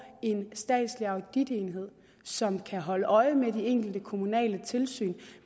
en statslig auditenhed som kan holde øje med de egentlige kommunale tilsyn